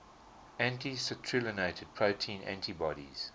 anti citrullinated protein antibodies